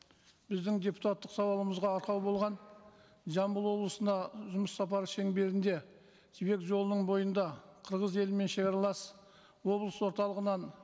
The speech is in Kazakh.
біздің депутаттық сауалымызға арқау болған жамбыл облысында жұмыс сапары шеңберінде жібек жолының бойында қырғыз елімен шегаралас облыс орталығынан